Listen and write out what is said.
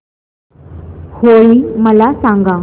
होळी मला सांगा